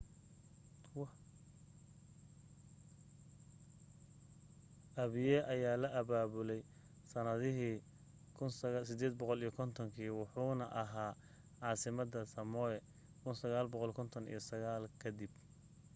apia ayaa la abaabulay sanadihi 1850 kii wuxuuna ahaa caasimadda samoa 1959 ka dib